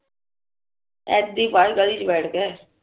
ਆ ਏਦੀ ਬਾਹਰ ਗਲੀ ਚ ਬੈਠਦੇ ਆ